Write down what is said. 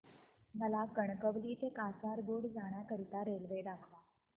मला कणकवली ते कासारगोड जाण्या करीता रेल्वे दाखवा